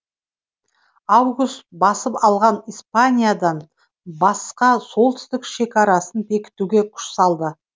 август басып алған испаниядан басқа солтүстік шекарсын бекітуге күш салды